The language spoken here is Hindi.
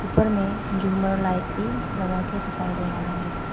उपर मैं झूमर लाइट भी लगा कर दिखाई दे रहा है।